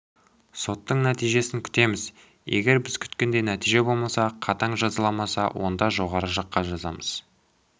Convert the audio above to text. соттың нәтижесін күтеміз егер біз күткендей нәтиже болмаса қатаң жазаламаса онда жоғары жаққа жазамыз